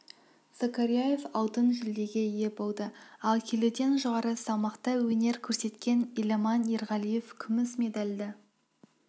закарияев алтын жүлдеге ие болды ал келіден жоғары салмақта өнер көрсеткен еламан ерғалиев күміс медальды